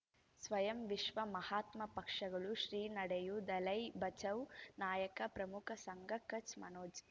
ಸ್ವಯಂ ವಿಶ್ವ ಮಹಾತ್ಮ ಪಕ್ಷಗಳು ಶ್ರೀ ನಡೆಯೂ ದಲೈ ಬಚೌ ನಾಯಕ ಪ್ರಮುಖ ಸಂಘ ಕಚ್ ಮನೋಜ್